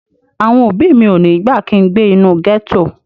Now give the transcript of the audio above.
Àwọn òbí mi ò ní gbà kin gbé inú gẹ́tò